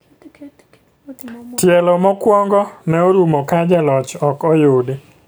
Telo mokuongo ne orumo ka jaloch ok oyudi.